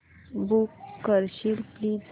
book करशील please